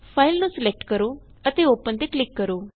file ਨੂੰ select ਕਰੋ ਅਤੇ ਓਪਨ ਤੇ ਕਲਿਕ ਕਰੋ